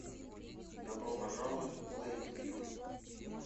добро пожаловать в лэйквью